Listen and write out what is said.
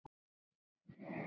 Ekki síður og jafnvel meira.